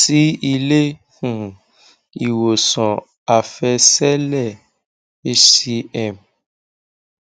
sí ilé um ìwòsàn àfẹsẹlẹ hcm